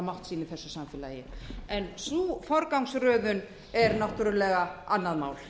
mátt sín í þessu samfélagi en sú forgangsröðun er náttúrlega annað mál